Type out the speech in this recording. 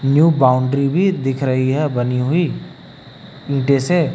New boundary भी दिख रही है बनी हुई ईंटे से।